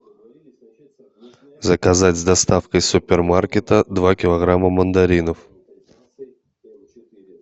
заказать с доставкой супермаркета два килограмма мандаринов